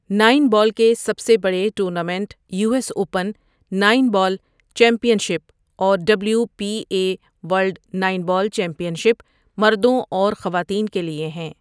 Nine ball کے سب سے بڑے tournament U S open nine ball championship اور W P A world nine ball championship مردوں اور خواتین کے لیے ہیں۔